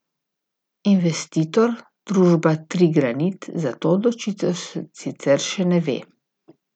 Investitor, družba Trigranit, za to odločitev sicer še ne ve.